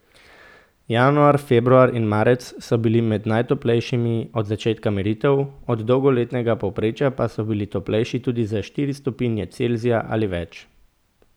Januar, februar in marec so bili med najtoplejšimi od začetka meritev, od dolgoletnega povprečja pa so bili toplejši tudi za štiri stopinje Celzija ali več.